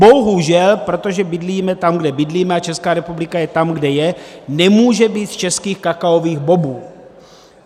Bohužel, protože bydlíme tam, kde bydlíme, a Česká republika je tam, kde je, nemůže být z českých kakaových bobů.